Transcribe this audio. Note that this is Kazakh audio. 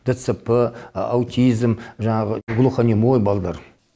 дцп аутизм жаңағы глухонемой балдар